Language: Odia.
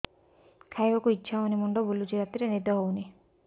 ଖାଇବାକୁ ଇଛା ହଉନି ମୁଣ୍ଡ ବୁଲୁଚି ରାତିରେ ନିଦ ହଉନି